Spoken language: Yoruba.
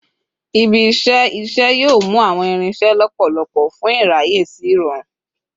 Ibi-iṣẹ iṣẹ yoo mu awọn irinṣẹ lọpọlọpọ fun iraye si irọrun